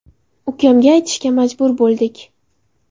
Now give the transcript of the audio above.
Ukamga aytishga majbur bo‘ldik.